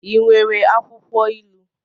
I nwere akwụkwọ ilu?